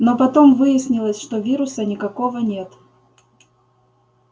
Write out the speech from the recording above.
но потом выяснилось что вируса никакого нет